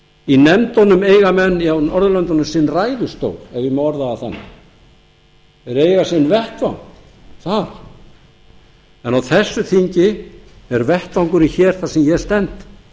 í nefndunum eiga menn á norðurlöndunum sinn ræðustól ef ég má orða það þannig þeir eiga sinn vettvang þar á þessu þingi er vettvangurinn hér þar sem ég stend